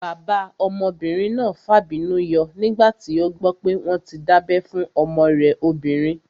Bàbá ọmọbìnrin náà fàbínú yọ nígbà tí ó gbọ́ pé wọ́n tí dábẹ́ fún ọmọ rẹ̀ obìnrin